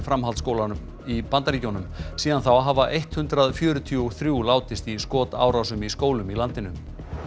framhaldsskólanum í Bandaríkjunum síðan þá hafa eitt hundrað fjörutíu og þrjú látist í skotárásum í skólum í landinu